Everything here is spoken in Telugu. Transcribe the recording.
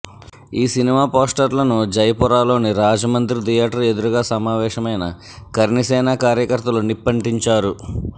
ఈ సినిమా పోస్టర్లను జయపురలోని రాజ్ మందిర్ థియేటర్ ఎదురుగా సమావేశమైన కర్ణిసేన కార్యకర్తలు నిప్పంటించారు